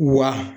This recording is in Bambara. Wa